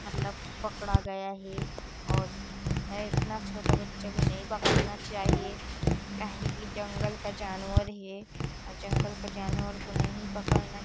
मतलब पकड़ा गया हे और एतना छोटा बच्चा को नहीं पकड़ना चाहिए काहे की जंगल का जानवर हे और जंगल का जानवर को नहीं पकड़ना --